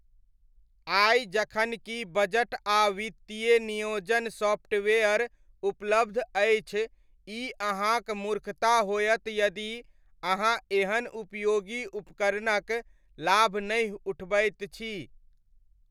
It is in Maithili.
आइ जखन कि बजट आ वित्तीय नियोजन सॉफ्टवेयर उपलब्ध अछि ई अहाँक मूर्खता होयत यदि अहाँ एहन उपयोगी उपकरणक लाभ नहि उठबैत छी।